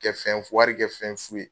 Kɛ fɛn fu ya wari kɛ fɛn fu ye.